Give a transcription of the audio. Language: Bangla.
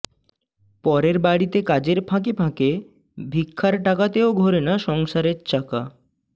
পরের বাড়িতে কাজের ফাঁকে ফাঁকে ভিক্ষার টাকাতেও ঘোরে না সংসারের চাকা